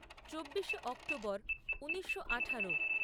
চব্বিশে অক্টোবর ঊনিশো আঠারো